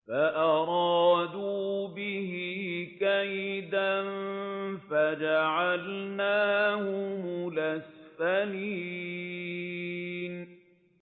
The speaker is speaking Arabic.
فَأَرَادُوا بِهِ كَيْدًا فَجَعَلْنَاهُمُ الْأَسْفَلِينَ